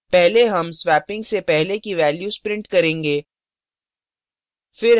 पहले हम swapping से पहले की values print करेंगे